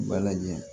Ba la ɲɛn